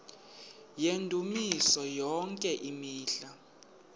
yendumiso yonke imihla